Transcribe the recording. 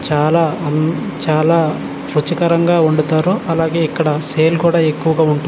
చాలా ఉమ్ చాలా రుచికరంగా వండుతారు అలాగే ఇక్కడ సేల్ కూడా ఎక్కువగా ఉంటుంది.